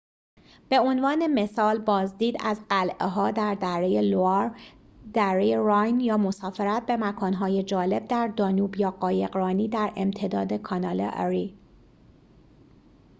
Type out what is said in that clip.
به عنوان مثال بازدید از قلعه ها در دره لوآر دره راین یا مسافرت به مکان‌های جالب در دانوب یا قایقرانی در امتداد کانال اری